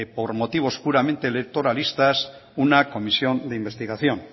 por motivos puramente electoralistas una comisión de investigación